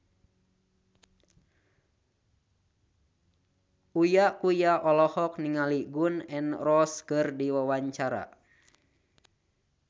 Uya Kuya olohok ningali Gun N Roses keur diwawancara